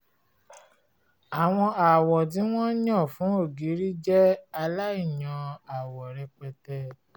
àwọn àwọ̀ tí wọ́n yàn fún ògiri jẹ́ aláìyan àwọ rẹpẹtẹ